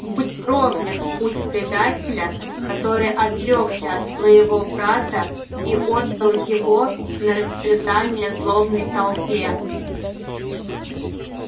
будь проклят путь предателя который отрёкся от своего брата и отдал его на растерзание злобной толпе